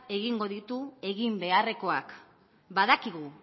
egingo ditu egin beharrekoak badakigu